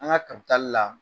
An ka kabitali la